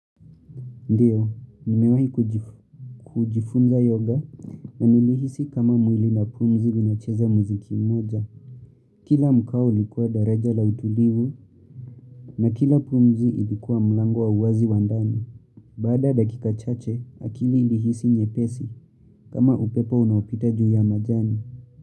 Ndiyo, nimewahi kujifunza yoga na nilihisi kama mwili na pumzi vinacheza muziki mmoja. Kila mkao ulikuwa daraja la utulivu na kila pumzi ilikuwa mlango wa uwazi wa ndani. Baada ya dakika chache, akili ilihisi nyepesi kama upepo unaopita juu ya majani.